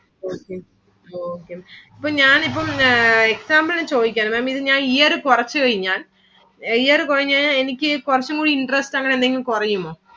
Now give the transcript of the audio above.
okay okay ഇപ്പം ഞാൻ ഇപ്പം example ചോദിക്കയാണ് Madam ഇത് ഞാൻ year കുറച്ചു കഴിഞ്ഞാൽ year കുറഞ്ഞ കഴിഞ്ഞാ എനിക്ക് കുറച്ചു കൂടി interest അങ്ങിനെ എന്തെങ്കിലും കുറയുമോ